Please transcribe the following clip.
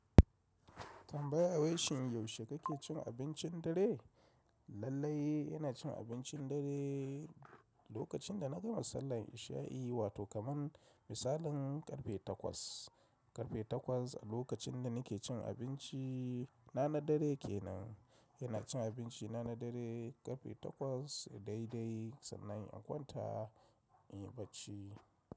Tambaya wai shin yaushe kake cin abincin dare? Lailai ina cin abincin dare lokacin da nagama sallan isha'i wato kaman misalin karfe takwas alokacin da nake cin abinci na na dare kenan inacin abinci na na dare karfe takwas daidai sannan in kwanta inyi barci.